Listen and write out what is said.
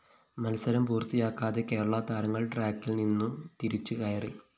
മത്സരം പൂര്‍ത്തിയാക്കാതെ കേരള താരങ്ങള്‍ ട്രാക്കില്‍ നിന്നു തിരിച്ചു കയറി